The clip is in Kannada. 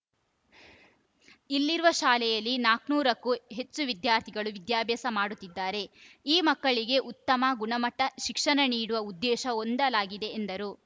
ಇಲ್ಲಿರುವ ಶಾಲೆಯಲ್ಲಿ ನಾಲ್ಕುನೂರು ಹೆಚ್ಚು ವಿದ್ಯಾರ್ಥಿಗಳು ವಿದ್ಯಾಭ್ಯಾಸ ಮಾಡುತ್ತಿದ್ದಾರೆ ಈ ಮಕ್ಕಳಿಗೆ ಉತ್ತಮ ಗುಣಮಟ್ಟ ಶಿಕ್ಷಣ ನೀಡುವ ಉದ್ದೇಶ ಹೊಂದಲಾಗಿದೆ ಎಂದರು